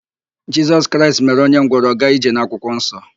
Jisọs Kraịst mere ọnye ngwọrọ ọ gaa ije n'akwụkwọnsọ.